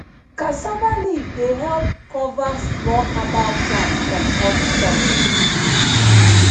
cassava leaf dey help cover small herbal plant from hot sun